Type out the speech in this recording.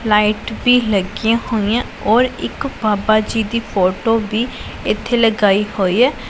Light ਵੀ ਲੱਗੀਆਂ ਹੋਈਆਂ ਔਰ ਇੱਕ ਬਾਬਾ ਜੀ ਦੀ ਫੋਟੋ ਵੀ ਇਥੇ ਲਗਾਈ ਹੋਈ ਹੈ।